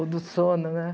Ou do sono, né?